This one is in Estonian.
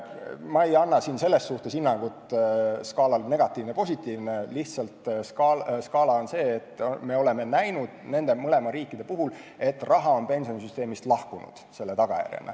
Ma ei anna siin hinnangut skaalal negatiivne-positiivne, lihtsalt me oleme näinud nende mõlema riigi puhul, et selle tagajärjel on raha pensionisüsteemist läinud.